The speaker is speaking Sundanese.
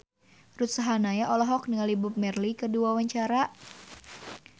Ruth Sahanaya olohok ningali Bob Marley keur diwawancara